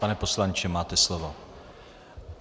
Pane poslanče, máte slovo.